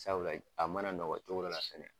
Sabula a mana nɔgɔya cogo dɔ la fɛnɛ.